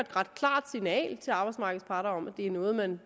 ret klart signal til arbejdsmarkedets parter om at det er noget man